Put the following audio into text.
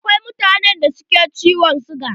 Akwai mutanen da suke da ciwon siga.